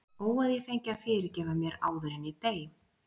Ó að ég fengi að fyrirgefa mér áður en ég dey.